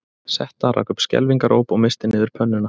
Setta rak upp skelfingaróp og missti niður pönnuna